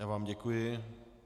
Já vám děkuji.